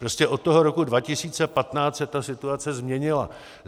Prostě od toho roku 2015 se ta situace změnila.